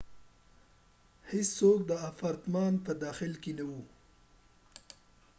هیڅوک د اپارتمان په داخل کې نه و